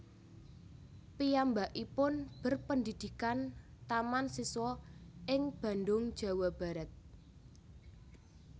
Piyambakipun berpendidikan Taman Siswa ing Bandung Jawa Barat